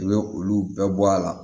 I bɛ olu bɛɛ bɔ a la